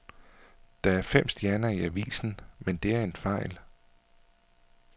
Der er fem stjerner i avisen, men det er en fejl.